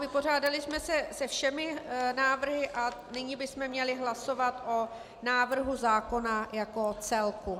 Vypořádali jsme se se všemi návrhy a nyní bychom měli hlasovat o návrhu zákona jako celku.